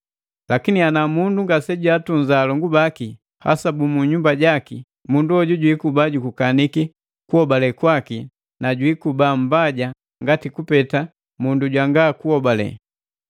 Lakini ana mundu ngasejaatunza alongu baki, hasa bukunyumba jaki, mundu hoju jwiikuba jukukaniki kuhobale kwaki na jwiikuba mmbaja ngani kupeta mundu jwanga kuhobale.